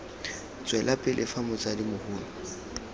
tswela pele fa motsadi mogolo